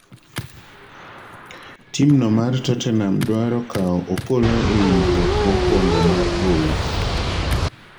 Timno mar Totenam dwaro kawo Opollo e winjruok mokwongo mar gowi